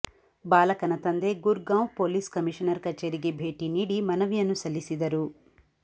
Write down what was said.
ಬಾಲಕನ ತಂದೆ Gurgaon police commissioner ಕಚೇರಿಗೆ ಭೇಟಿ ನೀಡಿ ಮನವಿಯನ್ನು ಸಲ್ಲಿಸಿದರು